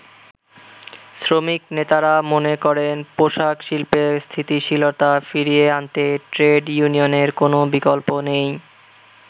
শ্রমিক নেতারা মনে করেন পোশাক শিল্পের স্থিতিশীলতা ফিরিয়ে আনতে ট্রেড ইউনিয়নের কোন বিকল্প নেই।